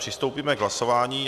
Přistoupíme k hlasování.